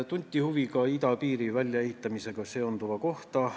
Tunti huvi ka idapiiri väljaehitamisega seonduva kohta.